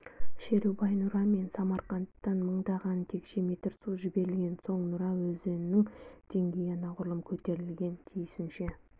шерубай-нұра мен самарқандтан мыңдаған текше метр су жіберілген соң нұра өзенінің деңгейі анағұрлым көтерілген тиісінше